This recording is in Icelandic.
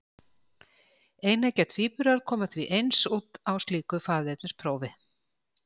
Eineggja tvíburar koma því eins út á slíku faðernisprófi.